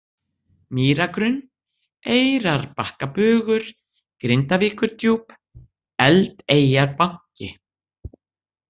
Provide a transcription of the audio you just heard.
Mýragrunn, Eyrarbakkabugur, Grindavíkurdjúp, Eldeyjarbanki